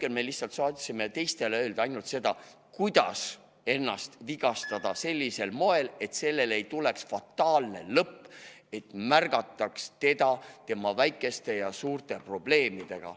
Aga me lihtsalt saime teistele öelda ainult seda, kuidas ennast vigastada sellisel moel, et see ei lõpeks fataalselt, et neid märgataks nende väikeste ja suurte probleemidega.